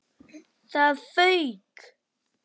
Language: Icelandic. ÞAÐ FAUK!